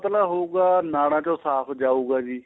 ਪਤਲਾ ਹੋਊਗਾ ਨਾੜਾ ਚੋਂ ਸਾਫ਼ ਜਾਉਗਾ ਜੀ